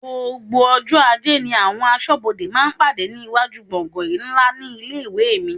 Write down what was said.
Gbogbo ọjọ́ ajé ni àwọn aṣọ́bodè máa ń pàdé ní iwájú gbọ̀ngan ńlá ní ilé-ìwé mi.